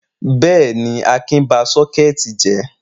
Bẹ́ẹ̀ ni, Akin ba sometimes jẹ́.